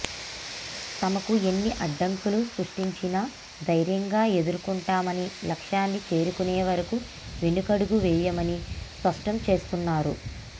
తమకు ఎన్ని అడ్డంకులు సృష్టించినా ధైర్యంగా ఎదుర్కొంటామని లక్ష్యాన్ని చేరుకునే వరకు వెనుకడుగు వేయమని స్పష్టం చేస్తున్నారు